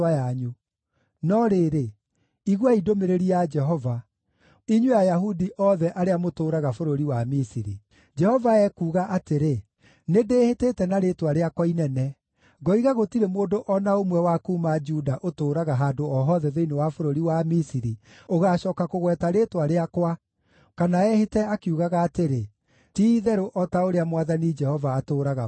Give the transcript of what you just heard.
No rĩrĩ, iguai ndũmĩrĩri ya Jehova, inyuĩ Ayahudi othe arĩa mũtũũraga bũrũri wa Misiri: Jehova ekuuga atĩrĩ, ‘Nĩndĩhĩtĩte na rĩĩtwa rĩakwa inene, ngoiga gũtirĩ mũndũ o na ũmwe wa kuuma Juda ũtũũraga handũ o hothe thĩinĩ wa bũrũri wa Misiri ũgaacooka kũgweta rĩĩtwa rĩakwa kana ehĩte akiugaga atĩrĩ, “Ti-itherũ o ta ũrĩa Mwathani Jehova atũũraga muoyo.”